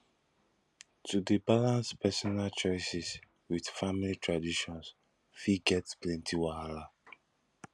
to dey balance personal choices with family traditions fit get plenty wahala